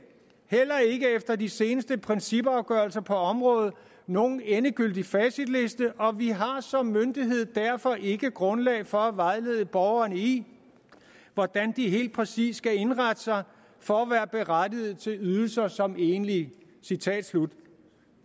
heller ikke efter de seneste principafgørelser på området nogen endegyldig facitliste og vi har som myndighed derfor ikke grundlag for at vejlede borgerne i hvordan de helt præcis skal indrette sig for at være berettiget til ydelser som enlige det